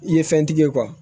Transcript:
I ye fɛntigi ye